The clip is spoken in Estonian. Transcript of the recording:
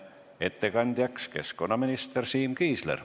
Ettekandjaks on keskkonnaminister Siim Kiisler.